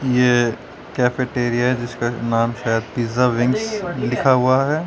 ये कैफेटेरिया है जिसका नाम शायद पिज्जा विंग्स लिखा हुआ है।